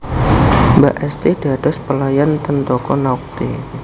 Mbak Esti dados pelayan ten toko Naughty